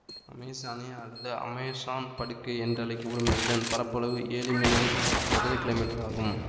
Amazonia அல்லது Amazon படுகை என்றழைக்க படும் இதன் பரப்பளவு ஏழு மில்லியன் சதுர கிலோமீட்டர்கள் ஆகும்